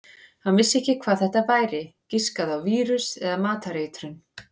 Hann vissi ekki hvað þetta væri, giskaði á vírus eða matareitrun.